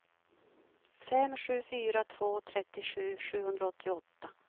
fem sju fyra två trettiosju sjuhundraåttioåtta